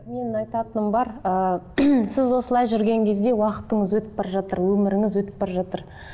менің айтатыным бар ыыы сіз осылай жүрген кезде уақытыңыз өтіп бара жатыр өміріңіз өтіп бара жатыр